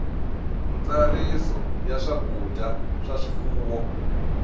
ntsariso ya swakudya swa swifuwo